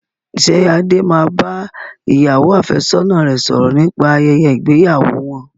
Ṣé Adé máa bá ìyàwó àfẹ́sọ́nà rẹ sọ̀rọ̀ nípa ayẹyẹ ìgbéyàwó wọn?